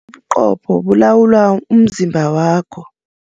Ubuqopho bulawula umzimba wakho.